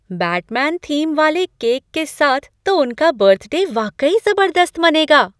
Batman theme वाले cake के साथ तो उनका बर्थडे वाकई ज़बरदस्त मनेगा!